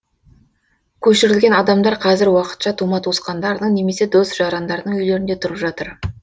көшірілген адамдар қазір уақытша тума туысқандарының немесе дос жарандарының үйлерінде тұрып жатыр